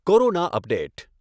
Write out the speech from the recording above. corona update